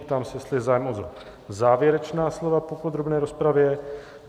Ptám se, jestli je zájem o závěrečná slova po podrobné rozpravě.